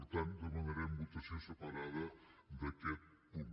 per tant demanarem votació separada d’aquest punt